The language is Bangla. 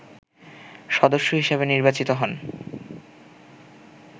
সদস্য হিসেবে নির্বাচিত হন